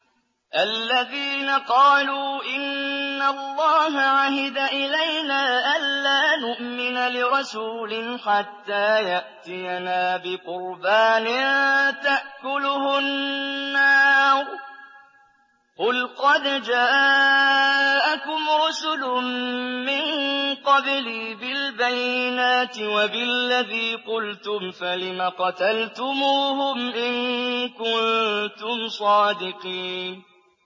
الَّذِينَ قَالُوا إِنَّ اللَّهَ عَهِدَ إِلَيْنَا أَلَّا نُؤْمِنَ لِرَسُولٍ حَتَّىٰ يَأْتِيَنَا بِقُرْبَانٍ تَأْكُلُهُ النَّارُ ۗ قُلْ قَدْ جَاءَكُمْ رُسُلٌ مِّن قَبْلِي بِالْبَيِّنَاتِ وَبِالَّذِي قُلْتُمْ فَلِمَ قَتَلْتُمُوهُمْ إِن كُنتُمْ صَادِقِينَ